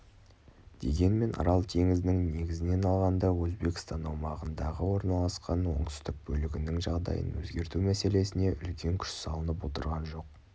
дегенмен арал теңізінің негізінен алғанда өзбекстан аумағында орналасқан оңтүстік бөлігінің жағдайын өзгерту мәселесіне үлкен күш салынып отырған жоқ